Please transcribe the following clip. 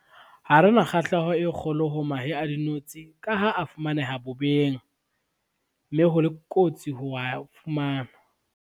Hare na kgahleho e kgolo ho mahe a dinotshi ka ha a fumaneha bobeng, mme ho le kotsi ho wa fumana.